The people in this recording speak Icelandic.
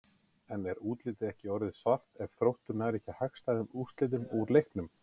En er útlitið ekki orðið svart ef að Þróttur nær ekki hagstæðum úrslitum úr leiknum?